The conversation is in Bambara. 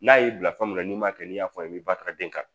N'a y'i bila fɛn min na n'i m'a kɛ n'i y'a fɔ i ye i bɛ den kan